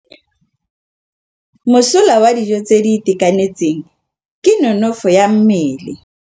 Mosola wa dijô tse di itekanetseng ke nonôfô ya mmele.